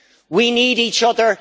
We need each other.